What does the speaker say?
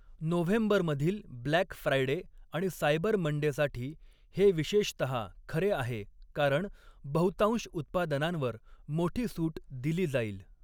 नोव्हेंबरमधील black Friday आणि cyber मंडेसाठी हे विशेषतः खरे आहे, कारण बहुतांश उत्पादनांवर मोठी सूट दिली जाईल.